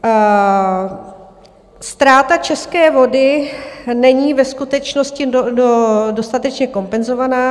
Ztráta české vody není ve skutečnosti dostatečně kompenzovaná.